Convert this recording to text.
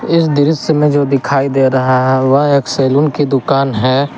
इस दृश्य में जो दिखाई दे रहा है वह एक सैलून की दुकान है।